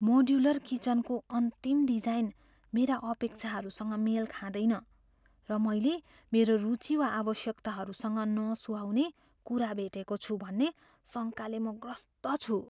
Modular किचनकोको अन्तिम design मेरा अपेक्षाहरूसँग मेल खाँदैन, र मैले मेरो रुचि वा आवश्यकताहरूसँग नसुहाउने कुरा भेटेको छु भन्ने शङ्काले म ग्रस्त छु।